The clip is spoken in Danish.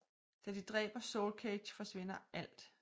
Da de dræber Soulcage forsvinder alt misten